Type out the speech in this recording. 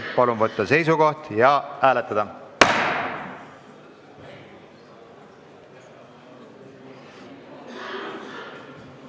Palun võtta seisukoht ja hääletada!